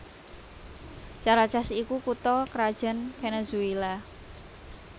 Caracas iku kutha krajan Venezuela